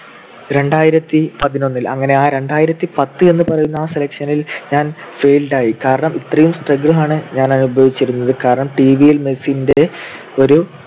രണ്ടായിരത്തിപതിനൊന്നിൽ അങ്ങനെ ആ രണ്ടായിരത്തിപത്ത് എന്ന് പറയുന്ന ആ selection ൽ ഞാൻ failed ആയി. കാരണം ഇത്രയും struggle ആണ് അനുഭവിച്ചിരുന്നത്. കാരണം TV യിൽ മെസീന്റെ ഒരു